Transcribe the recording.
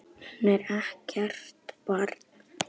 Hún er ekkert barn.